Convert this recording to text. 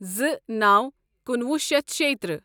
زٕ نو کُنوُہ شیتھ شیٚیتٕرٛہ